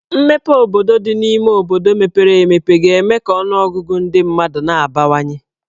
Mmepe obodo dị n'obodo mepere emepe ga-eme ka ọnụọgụgụ ndị mmadụ n'abawanye.